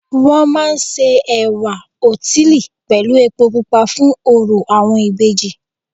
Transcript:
Wọ́n máa ń se ẹ̀wá òtílí pẹ̀lú epo pupa fún orò àwọn ìbejì